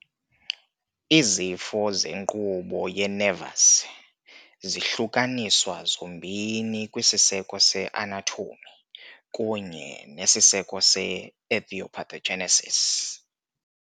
Izifo zenkqubo ye-nervous zihlukaniswa zombini kwisiseko se- anatomy kunye nesiseko se- etiopathogenesis .